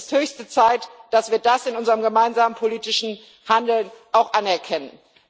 Es ist höchste Zeit, dass wir das in unserem gemeinsamen politischen Handeln auch anerkennen.